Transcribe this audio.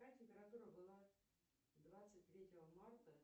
какая температура была двадцать третьего марта